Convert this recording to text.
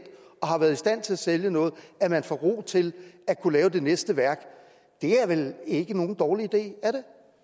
og har været i stand til at sælge noget får ro til at kunne lave det næste værk er vel ikke nogen dårlig idé er det